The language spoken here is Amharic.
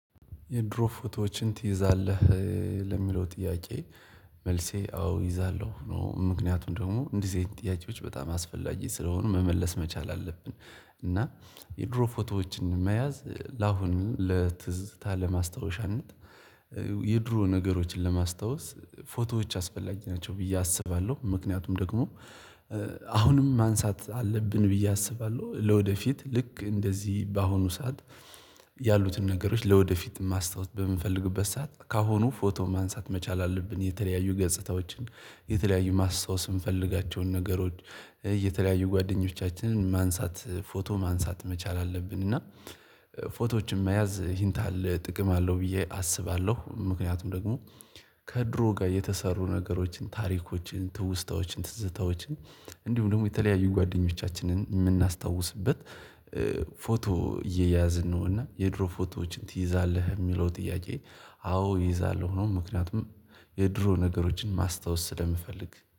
የድሮ ፎቶዎችን ትይዛለህ? ለሚለው ጥያቄ መልሴ አዎ እይዛለሁ ነው ምክንያቱም ደግሞ እንዲዚህ አይነት ጥያቄዎች በጣም አስፈላጊ ስለሆኑ መመለስ መቻል አለብን። እና የድሮ ፎቶዎችን መያዝ ለአሁኑ ለትዝታ ለማስታወሻነት። የድሮ ነገሮችን ለማስታወስ ፎቶዎች አስፈላጊ ናቸው ብዬ አስባለሁ ምክንያቱም ደግሞ አሁንም ማንሳት አለብን ብዬ አስባለሁ። ለወደፊት ልክ እንደዚህ በአሁኑ ሰዓት ያሉትን ነገሮች ለወደፊት ማስታወስ በምንፈልግበት ሰዓት ካሁኑ ፎቶ ማንሳት መቻል አለብን። የተለያዩ ገጽታዎችን የተለያዩ ማስታወስ የምንፈልጋቸውን ነገሮች የተለያዩ ጓደኞቻችንን ማንሳት ፎቶ ማንሳት መቻል አለብን። እና ፎቶዎችን መያዝ ሂንት አለ ጥቅም አለው ብዬ አስባለሁ። ምክንያቱም ደግሞ ከድሮ ጋር የተሰሩ ነገሮችን ታሪኮችን ትውስታዎችን ትዝታዎችን እንዲሁም ደግሞ የተለያዩ ጓደኞቻችንን የምናስታውስበት ፎቶ እየያዝን ነው። እና የድሮ ፎቶዎችን ትይዛለህ? የሚለው ጥያቄ አዎ እይዛለሁ ነው ምክንያቱም የድሮ ነገሮችን ማስታወስ ስለምፈልግ